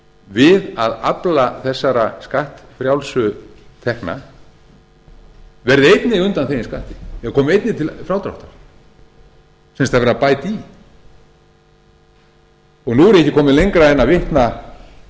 við að afla þessara skattfrjálsu tekna verði einnig undanþegin skatti eða komi einnig til frádráttar sem sagt það er verið að bæta í nú er ég ekki kominn lengra en að vitna